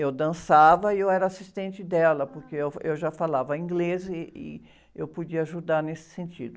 Eu dançava e eu era assistente dela, porque eu, eu já falava inglês ih, e eu podia ajudar nesse sentido.